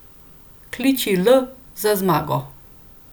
Kliči L za zmago!